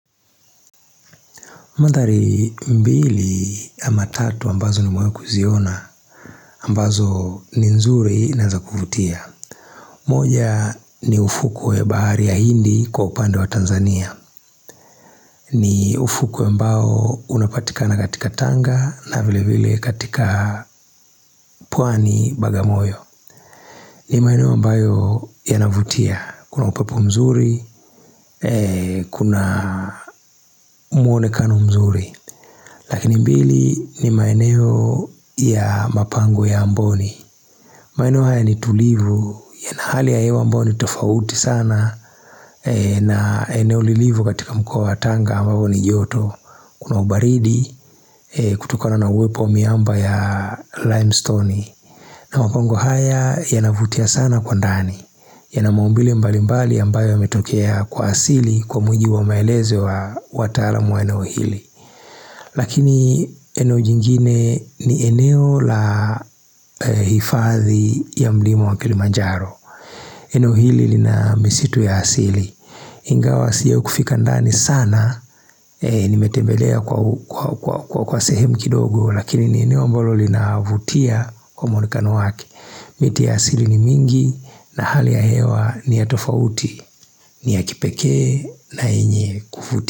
Mandhari mbili ama tatu ambazo ni mewahi kuziona, ambazo ni nzuri na za kuvutia. Moja ni ufukwe bahari ya hindi kwa upande wa Tanzania. Ni ufukuwe ambao unapatikana katika tanga na vile vile katika pwani bagamoyo. Ni maeneo ambayo yanavutia, kuna upepu mzuri, kuna muonekano mzuri. Lakini mbili ni maeneo ya mapango ya mboni maeneo haya ni tulivu yana hali ya hewa ambayo ni tofauti sana na eneo lilivo katika mkoa wa tanga ambavo ni joto Kuna ubaridi kutukona na uwepo wa miamba ya limestone na mapango haya yanavutia sana kwa ndani yana maumbile mbali mbali ambayo ya metokea kwa siri kwa mujibu wa maelezo wa watalamu wa eneo hili Lakini eno jingine ni eneo la hifadhi ya mlima wa kilimanjaro eneo hili lina misitu ya asili Ingawa sio kufika ndani sana Nimetebelea kwa kwa sehemu kindogo Lakini ni eneo mbalo linavutia kwa mwonekano wake miti ya asili ni mingi na hali ya hewa ni ya tofauti ni ya kipekee na yenye kuvutia.